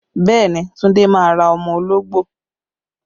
Bẹẹ ni, Tunde máa ra ọmọ ológbò